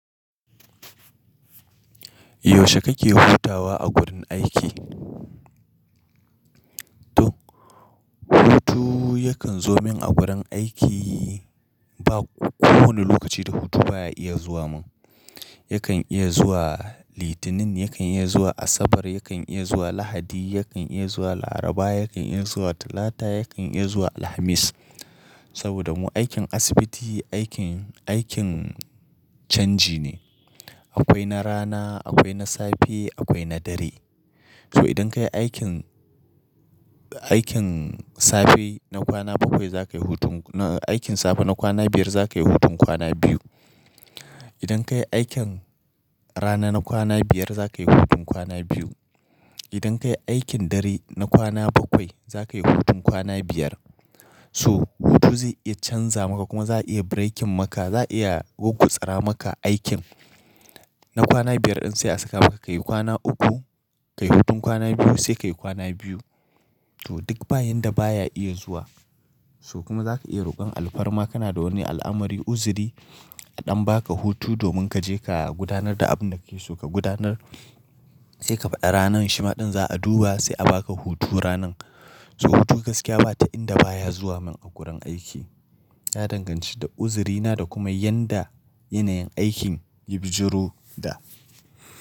Yaushe kake hutawa a gurin aiki? To, hutu yakan zo min a gurin aiki ba kowane lokaci da hutu baya iya zuwa min. Yakan iya zuwa Litinin, yakan iya zuwa Asabar, yakan iya zuwa Lahadi, yakan iya zuwa Laraba, yakan iya zuwa Talata, yakan iya zuwa Alhamis. Saboda mu aikin asibiti aikin, aikin canji ne. Akwai na rana, akwai na safe, akwai na dare. So idan ka yi aikin, aikin safe na kwana bakwai za ka yi hutun, aikin safe na kwana biyar za ka yi hutun kwana biyu. Idan ka yi aikin rana na kwana biyar za ka yi hutun kwana biyu. Idan ka yi aikin dare na kwana bakwai za ka yi hutun kwana biyar. So hutu zai iya canza maka kuma za a iya breaking maka, za a iya gurgutsara maka aikin na kwana biyar in sai a saka maka ka yi kwana uku, ka yi hutun kwana biyu sai ka yi kwana biyu. To duk bayan da baya iya zuwa. So kuma za ka iya rokon alfarma kana da wani al'amari, uzuri a ɗan ba ka hutu domin ka je ka gudanar da abin da ka so ka gudanar sai ka faɗa ranan shi ma ɗin za a duba sai a ba ka hutu ranan. So hutu gaskiya ba ta inda baya zuwa min a gurin aiki. Ya danganci da uzurina da kuma yadda yanayin aikin ya bijiru da.